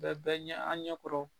Bɛ bɛɛ ɲɛ an ɲɛ kɔrɔ.